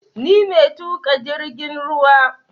Ni mai tuƙa jirgin ruwa